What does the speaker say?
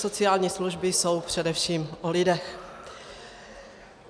Sociální služby jsou především o lidech.